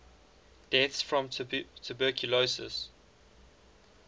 deaths from tuberculosis